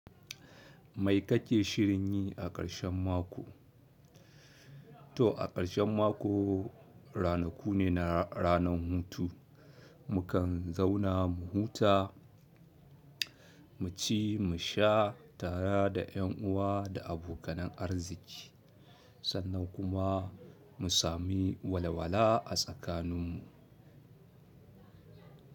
Mai kake shirin yi a ƙarshen mako? To a ƙarshen mako, ranaku ne na ranan hutu. Mukan zauna mu huta, mu ci, mu sha tara da ƴan uwa da abokanan arziki sannan kuma mu sami walwala a tsakaninmu.